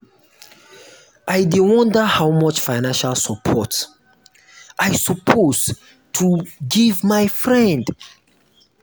i dey wonder how much financial support i suppose to give to my friend.